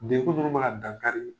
Dekun nunnu mana dankari